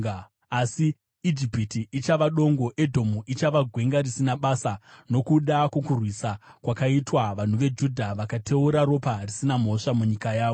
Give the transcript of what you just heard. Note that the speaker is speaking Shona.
Asi Ijipiti ichava dongo, Edhomu ichava gwenga risina basa, nokuda kwokurwiswa kwakaitwa vanhu veJudha, vakateura ropa risina mhosva munyika yavo.